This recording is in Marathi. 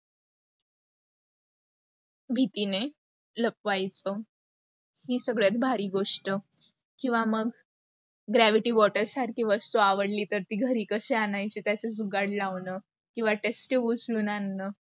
भीतीने, लपवायच. हि सगळ्यात भारी गोष्ट, किवा मग gravity water सारखी वस्तू आवडली तर ती घरी कशी आणायची त्याच जुगाड लावणं, किवा test tube उचलून आणण